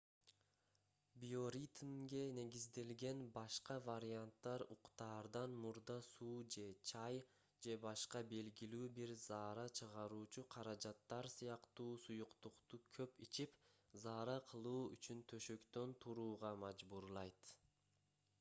биоритмге негизделген башка варианттар уктаардан мурда суу же чай же башка белгилүү бир заара чыгаруучу каражаттар сыяктуу суюктукту көп ичип заара кылуу үчүн төшөктөн турууга мажбурлайт